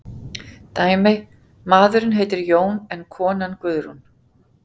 Dæmi: Maðurinn heitir Jón en konan Guðrún.